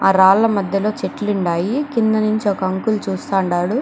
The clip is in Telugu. ఆ రాళ్ల మధ్యలో చెట్లు ఉండాయి. కింద నుంచి ఒక అంకుల్ చూస్తా ఉండాడు.